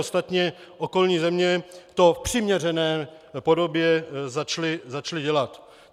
Ostatně okolní země to v přiměřené podobě začaly dělat.